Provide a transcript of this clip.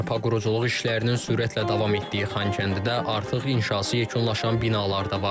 Bərpa quruculuq işlərinin sürətlə davam etdiyi Xankəndidə artıq inşası yekunlaşan binalar da var.